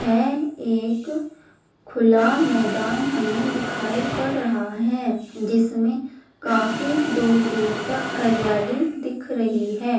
यह एक खुला मैदान हमें दिखाई पड़ रहा है जिसमें काफी दूर-दूर तक हरियाली दिख रही है।